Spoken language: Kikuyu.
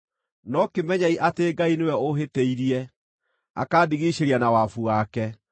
no kĩmenyei atĩ Ngai nĩwe ũũhĩtĩirie, akandigiicĩria na wabu wake.